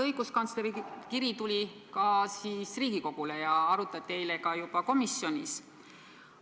Õiguskantsleri kiri tuli ka Riigikogule ja seda arutati juba eile komisjonis.